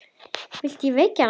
Viltu að ég veki hana?